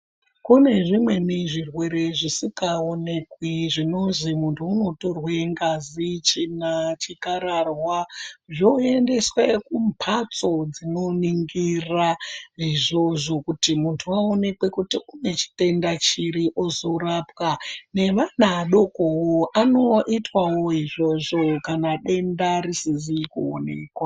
Kune zvimweni zvirwere zvisikaonekwi zvinozi muntu unotorwe ngazi, tsvina chikararwa zvoendeswe kumbatso dzinoningira izvozvo kuti muntu aonekwe kuti une chitenda chiri ozorapwa, nevana adoko anoitwawo izvozvo kana denda risizi kuonekwa.